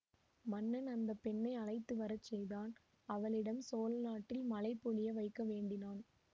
மன்னன் அந்த பெண்ணை அழைத்து வர செய்தான் அவளிடம் சோழநாட்டில் மழை பொழிய வைக்க வேண்டினான்